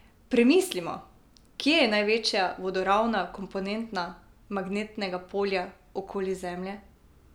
Premislimo, kje je največja vodoravna komponenta magnetnega polja okoli Zemlje!